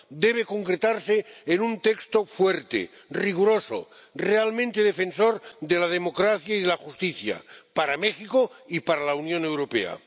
debe concretarse en un texto fuerte, riguroso, realmente defensor de la democracia y de la justicia para México y para la Unión Europea.